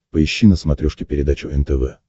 поищи на смотрешке передачу нтв